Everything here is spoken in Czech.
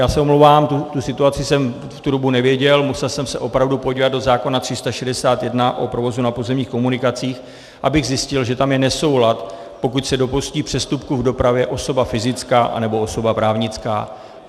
Já se omlouvám, tu situaci jsem v tu dobu nevěděl, musel jsem se opravdu podívat do zákona 361, o provozu na pozemních komunikacích, abych zjistil, že tam je nesoulad, pokud se dopustí přestupku v dopravě osoba fyzická anebo osoba právnická.